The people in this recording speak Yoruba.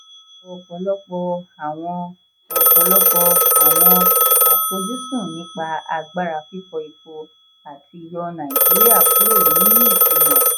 ọ̀pọ̀lọpọ̀ àwọn ọ̀pọ̀lọpọ̀ àwọn àfojúsùn nípa agbára fífọ epo àti yọ naijiria kúrò ní ìkuna.